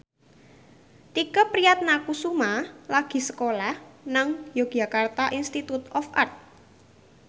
Tike Priatnakusuma lagi sekolah nang Yogyakarta Institute of Art